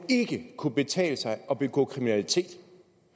kunne betale sig at begå kriminalitet